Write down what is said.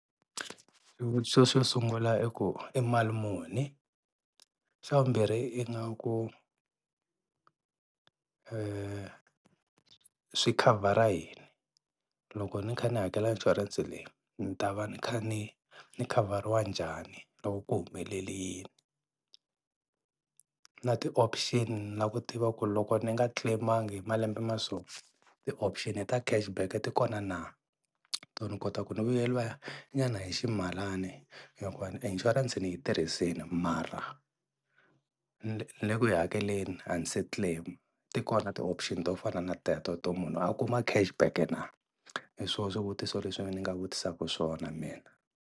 Xivutiso xo sungula i ku i mali muni? Xa vumbirhi ingaku swi khavhara yini, loko ni kha ni hakela inshurense leyi ni ta va ni kha ni ni khavariwa njhani loko ku humelele yini? Na ti-option na ku tiva ku loko ni nga claim-angi hi malembe ma so ti-option ta cash back ti kona na, to ni kota ku ni vuyeriwa nyana i ximalani hikuva inshurense ni yi tirhisini mara ni le ku yi hakeleni a ni se claim-a, ti kona ti-option to fana na teto to munhu a kuma cash back na? Hi swona swivutiso leswi ni nga vutisaka swona mina.